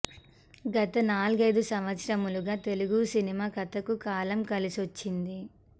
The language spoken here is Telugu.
గత నాలుగైదు సంవత్సరాలుగా తెలుగు సినిమా కథకు కాలం కలిసొచ్చింది